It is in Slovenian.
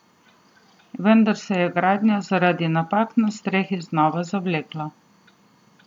Vendar se je gradnja zaradi napak na strehi znova zavlekla.